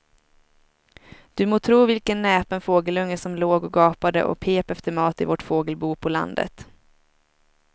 Du må tro vilken näpen fågelunge som låg och gapade och pep efter mat i vårt fågelbo på landet.